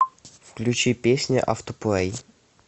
включи песня автоплей